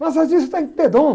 Massagista tem que ter dom.